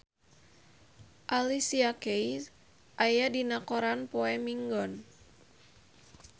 Alicia Keys aya dina koran poe Minggon